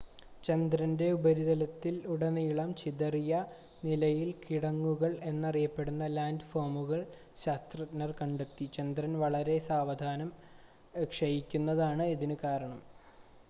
ചന്ദ്രൻ്റെ ഉപരിതലത്തിൽ ഉടനീളം ചിതറിയ നിലയിൽ കിടങ്ങുകൾ എന്നറിയപ്പെടുന്ന ലാൻഡ് ഫോമുകൾ ശാസ്ത്രജ്ഞർ കണ്ടെത്തി ചന്ദ്രൻ വളരെ സാവധാനം ക്ഷയിക്കുന്നതാണ് ഇതിന് കാരണം